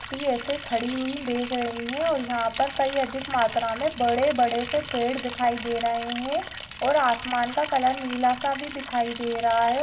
ऐसे खड़ी हुई देख रही है और यहा पर कई अधिक मात्रा मे बड़े बड़े से पेड़ दिखाई दे रहे है और आसमान का कलर निला सा भी दिखाई दे रहा है।